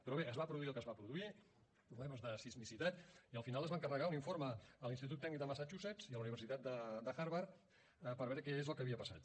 però bé es va produir el que es va produir problemes de sismicitat i al final es va encarregar un informe a l’institut tecnològic de massachusetts i a la universitat de harvard per veure què és el que havia passat